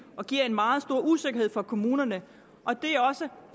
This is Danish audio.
og giver en meget stor usikkerhed for kommunerne det er også